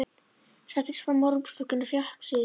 Settist fram á rúmstokkinn og fékk sér í nefið.